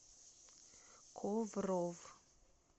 ковров